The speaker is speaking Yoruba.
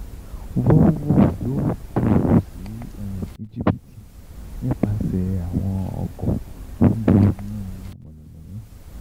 Volvo yóò gbòòrò sí um Íjíbítì nípasẹ̀ àwọn ọkọ̀ tó ń lo iná mọ̀nàmọ́ná